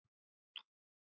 En ekki munaði það miklu.